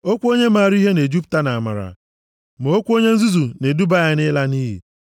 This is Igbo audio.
Okwu onye maara ihe na-ejupụta nʼamara, ma okwu onye nzuzu na-eduba ya nʼịla nʼiyi